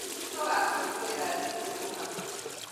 Nĩtũgakũnguira thigũkũ hamwe